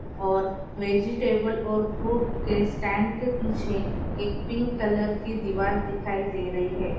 और वेजिटेबल और फ्रूट के स्टैंड के पीछे एक पिंक कलर की दीवार दिखाई दे रही है।